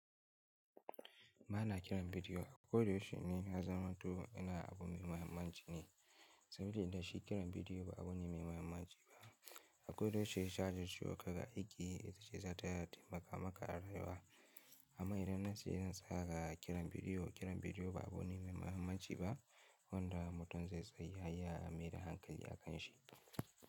Ba na kiran bidiyo, koda yaushe ni ya zamanto ina abu mai mahimmanci ne. Sabilan da shi kiran bidiyo ba abu ne mai mahimmanci ba, akoda yaushe jajircewa ka ga aiki, itace zata taimaka maka a rayuwa, amma idan na ce zan tsaya ga kiran bidiyo, kiran bidiyo ba abu ne mai mahimmanci ba, wanda mutum zai tsaya ya maida hankali a kan shi.